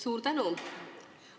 Suur tänu!